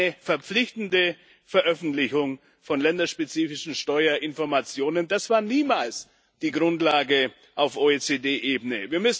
Eine verpflichtende Veröffentlichung von länderspezifischen Steuerinformationen war niemals die Grundlage auf OECD Ebene.